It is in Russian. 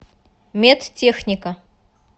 медтехника